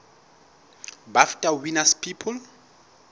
bafta winners people